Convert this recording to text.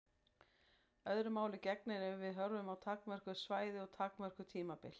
Öðru máli gegnir ef við horfum á takmörkuð svæði og takmörkuð tímabil.